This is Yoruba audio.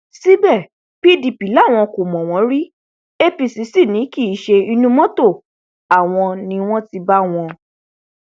síbẹ pdp làwọn kò mọ wọn rí apc sí ni kí ṣe inú mọtò àwọn ni wọn ti bá wọn